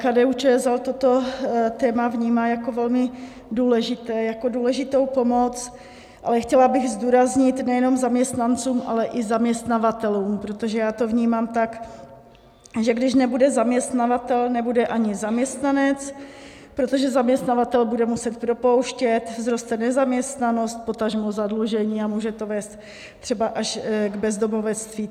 KDU-ČSL toto téma vnímá jako velmi důležité, jako důležitou pomoc, ale chtěla bych zdůraznit, nejenom zaměstnancům, ale i zaměstnavatelům - protože já to vnímám tak, že když nebude zaměstnavatel, nebude ani zaměstnanec; protože zaměstnavatel bude muset propouštět, vzroste nezaměstnanost, potažmo zadlužení, a může to vést třeba až k bezdomovectví.